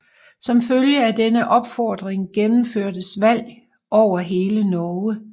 Som følge af denne opfordring gennemførtes valg over hele Norge